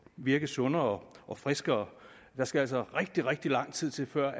virke sundere og friskere der skal altså rigtig rigtig lang tid til før